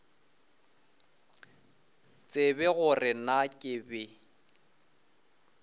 tsebe gore na ke be